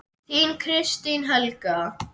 Þín, Kristín Helga.